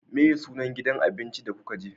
Meye sunan gidan abincin da kuka je?